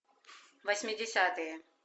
восьмидесятые